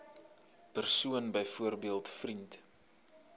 persoon byvoorbeeld vriend